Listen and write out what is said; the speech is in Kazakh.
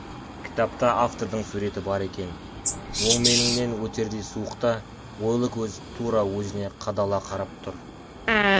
кітапта автордың суреті бар екен өңменіңнен өтердей суық та ойлы көз тура өзіне қадала қарап тұр